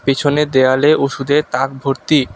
পিছনের দেওয়ালে ওষুধের তাক ভর্তি।